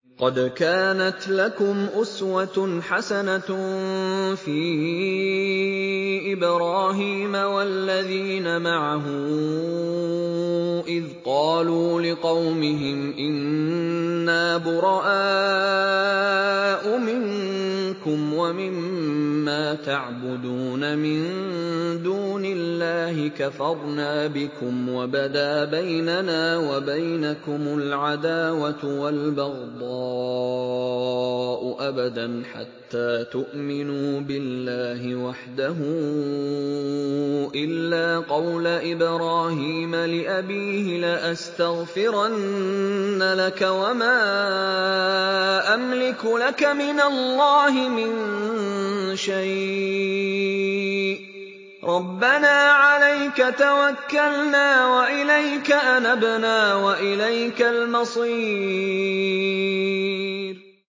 قَدْ كَانَتْ لَكُمْ أُسْوَةٌ حَسَنَةٌ فِي إِبْرَاهِيمَ وَالَّذِينَ مَعَهُ إِذْ قَالُوا لِقَوْمِهِمْ إِنَّا بُرَآءُ مِنكُمْ وَمِمَّا تَعْبُدُونَ مِن دُونِ اللَّهِ كَفَرْنَا بِكُمْ وَبَدَا بَيْنَنَا وَبَيْنَكُمُ الْعَدَاوَةُ وَالْبَغْضَاءُ أَبَدًا حَتَّىٰ تُؤْمِنُوا بِاللَّهِ وَحْدَهُ إِلَّا قَوْلَ إِبْرَاهِيمَ لِأَبِيهِ لَأَسْتَغْفِرَنَّ لَكَ وَمَا أَمْلِكُ لَكَ مِنَ اللَّهِ مِن شَيْءٍ ۖ رَّبَّنَا عَلَيْكَ تَوَكَّلْنَا وَإِلَيْكَ أَنَبْنَا وَإِلَيْكَ الْمَصِيرُ